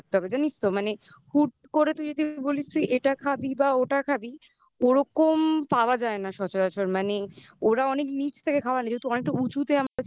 গেলে তোকে আগের থেকে বলে রাখতে হবে জানিস তো মানে হুট করে তুই যদি বলিস তুই এটা খাবি বা ওটা খাবি ওরকম পাওয়া যায় না সচরাচর মানে ওরা অনেক নিচ থেকে খাওয়ানো যেহেতু অনেকটা উঁচুতে আমরা ছিলাম.